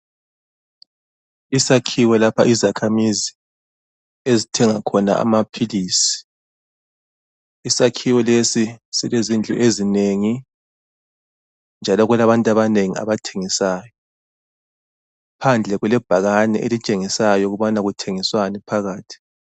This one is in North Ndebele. Isakhiwo lapha izakhamizi ezithenga khona amaphilisi ,isakhiwo lesi silezindlu ezinengi, njalo kulabantu abanengi abathengisayo .Phandle kulebhakane elitshengisayo ukubana kuthengiswani phakathi.